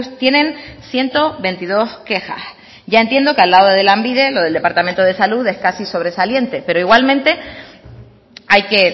tienen ciento veintidós quejas ya entiendo que al lado de lanbide lo del departamento de salud es casi sobresaliente pero igualmente hay que